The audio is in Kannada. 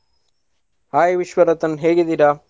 Hai ವಿಶ್ವರತನ್ ಹೇಗಿದ್ದೀರಾ?